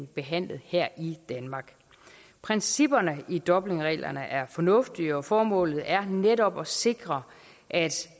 behandlet her i danmark principperne i dublinreglerne er fornuftige og formålet er netop at sikre at